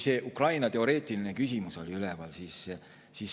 See Ukraina teoreetiline küsimus oli siin üleval.